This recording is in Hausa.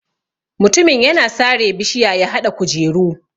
Mutumin yana sare bishiya ya haɗa kujeru.